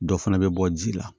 Dɔ fana bɛ bɔ ji la